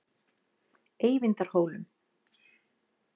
Eyvindarhólum